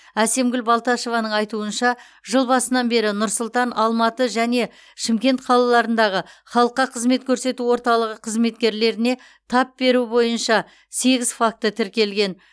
әсемгүл балташеваның айтуынша жыл басынан бері нұр сұлтан алматы және шымкент қалаларындағы халыққа қызмет көрсету орталығы қызметкерлеріне тап беру бойынша сегіз факт тіркелген